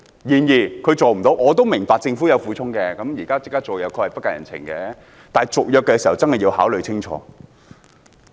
然而，我也明白政府有其苦衷，現在立刻終止租約又的確不近人情，但到接近續約時，真的要考慮清楚。